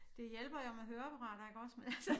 Det hjælper jo med høreapparater iggås men altså